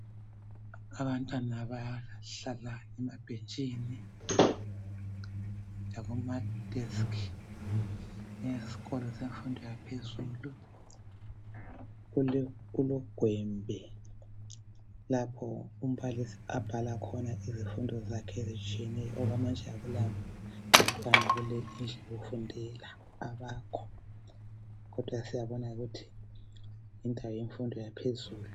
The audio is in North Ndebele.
Abantwana bahlala emabhentshini lakuma desk esikolo semfundo yaphezulu. Kulogwembe lapho umbalisi abhala khona izifundo zakhe ezitshiyeneyo. Okwamanje akulabantwana kule indlu yokufundela abakho kodwa siyabona ukuthi yindawo yemfundo yaphezulu.